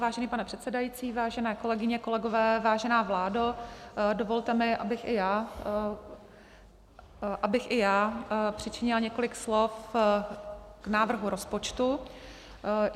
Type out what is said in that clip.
Vážený pane předsedající, vážené kolegyně, kolegové, vážená vládo, dovolte mi, abych i já přičinila několik slov k návrhu rozpočtu.